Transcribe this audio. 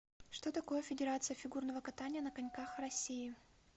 что такое федерация фигурного катания на коньках россии